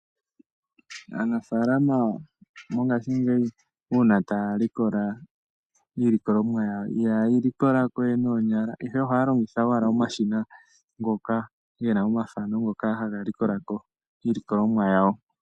Aanafaalama mongashingeyi, uuna ta ya likola iilikolomwa yawo, ihaye yi likola ko we noonyala, ihe ohaya longitha, longitha omashina ngoka gena omafano ngoka haga likola ko iilikolomwa yawo.